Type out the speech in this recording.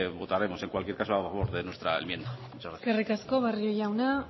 votaremos en cualquier caso a favor de nuestra enmienda muchas gracias eskerrik asko barrio jauna